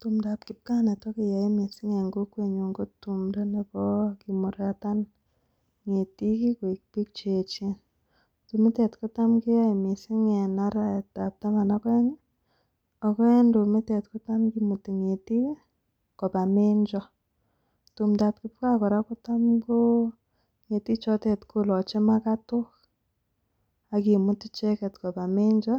Tumdap kipkaa netokeyoe missing en kokwenyon ko tumdo nebo kimuratan ngetik kii koik bik cheyechen. Tumitet kotam keyoe missing en arawetab taman ak oengi ako en tumitet kotam kimuti ngetik kii koba mencho. Tumdap kipkaa Koraa kotam koo ngetik chotet koloche makatik ak kimut icheket koba mencho,